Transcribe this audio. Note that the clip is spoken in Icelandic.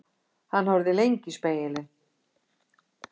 Hann horfði lengi í spegilinn.